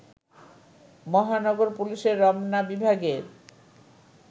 মহানগর পুলিশের রমনা বিভাগের